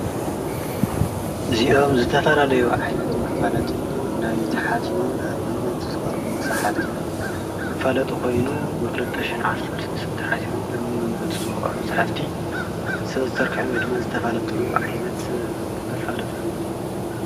እዚኦም ዝተፈላለዩ ዓይነት መፋለጢ ናይ ተሓቲሙ ናብ መምበብቲ ዝቐርቡ መፅሓፍቲ መፋለጢ ኮይኑ ክልተ ሽሕን ዓሰርተ ሰለስተን ተሓቲሙ ንመንበብቲ ዝበቕዐ መፅሓፍቲ ዝተዘርገሐ ወይድማ ዝተፈልጠሉ ዓይነት መፋለጢ እዩ።